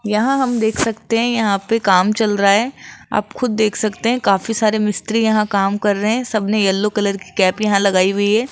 यहां हम देख सकते हैं यहां पे काम चल रहा है आप खुद देख सकते हैं काफी सारे मिस्त्री यहां काम कर रहे हैं सब ने येलो कलर की कैप यहां लगाई हुई है।